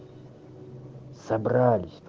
собрались